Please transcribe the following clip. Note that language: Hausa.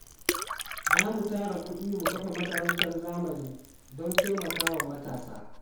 Za mu tara kudi mu kafa makarantar zamani don taimakawa matasa.